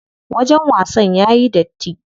Wajen wasan yayi datti.